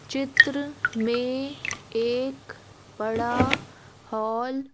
चित्र में एक बड़ा हॉल --